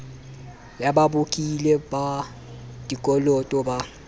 ya babokelli ba dikoloto ba